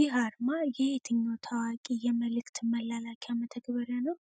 ይህ አርማ የየትኛው ታዋቂ የመልእክት መላላኪያ መተግበሪያ ነው?